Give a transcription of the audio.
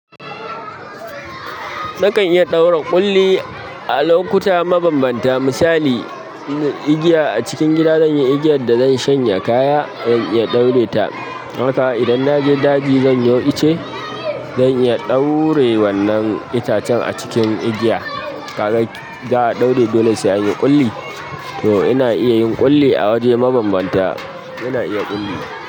Nakan iya ɗaura ƙulli a lokuta mabanbanta. Misali in ingiya acikin gida zanyi igiyar da zan shanya kaya zan iya ɗaure ta don haka idan naje daji, zan yo itace, zan iya ɗaura wannan itacen a cikin igiya. Kaga za'a ɗaure dole sai anyi ƙulli. To ina iya yin ƙulli a waje mabambanta. Ina iya ƙulli.